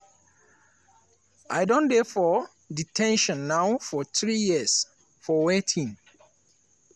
i don dey for de ten tion now for three years for wetin?"